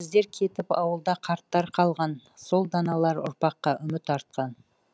біздер кетіп ауылда қарттар қалған сол даналар ұрпаққа үміт артқан